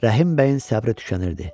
Rəhim bəyin səbri tükənirdi.